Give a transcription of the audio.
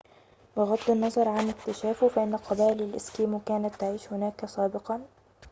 بغض النظر عن اكتشافه فإن قبائل الإسكيمو كانت تعيش هناك سابقاً